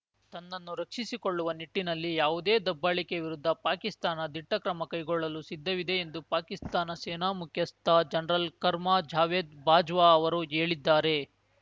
ತನ್ನನ್ನು ರಕ್ಷಿಸಿಕೊಳ್ಳುವ ನಿಟ್ಟಿನಲ್ಲಿ ಯಾವುದೇ ದಬ್ಬಾಳಿಕೆ ವಿರುದ್ಧ ಪಾಕಿಸ್ತಾನ ದಿಟ್ಟಕ್ರಮ ಕೈಗೊಳ್ಳಲು ಸಿದ್ಧವಿದೆ ಎಂದು ಪಾಕಿಸ್ತಾನ ಸೇನಾ ಮುಖ್ಯಸ್ಥ ಜನ್ರಲ್‌ ಖರ್ಮ ಜಾವೇದ್‌ ಬಾಜ್ವಾ ಅವರು ಹೇಳಿದ್ದಾರೆ